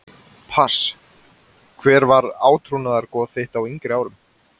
Pass Hver var átrúnaðargoð þitt á yngri árum?